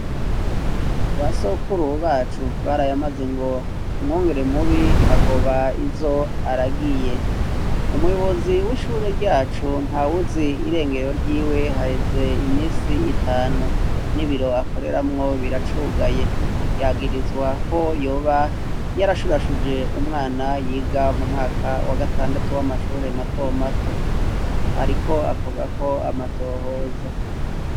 Basokuru bacu barayamaze ngo umwungere mubi agoba izo aragiye, umuyobozi w'ishure ryacu nta wuzi irengero ry'iwe haheze imisi itanu, n'ibiro akoreramwo biracugaye ,yagirizwako hoba yarashurashuje umwana yiga mu mwaka wa gatandatu w'amashure mato mato ,ariko akorwako amatohoza.